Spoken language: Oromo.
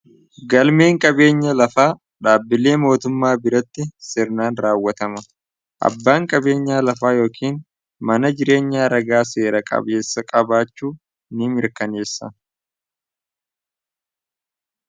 Galmeen qabeenya lafaa dhaabbilee mootummaa biratti sirnaan raawwatama. Abbaan qabeenya lafaa yookaan mana jireenya ragaa seera qabeessa qabaachuu ni mirkaneessa.